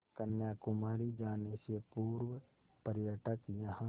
कन्याकुमारी जाने से पूर्व पर्यटक यहाँ